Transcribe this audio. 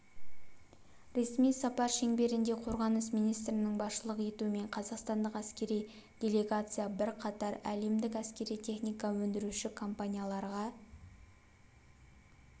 ресми сапар шеңберінде қорғаныс министрінің басшылық етуімен қазақстандық әскери делегация бірқатар әлемдік әскери техника өндіруші компанияларға